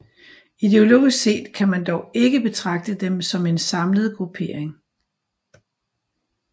Ideologisk set kan man dog ikke betragte dem som en samlet gruppering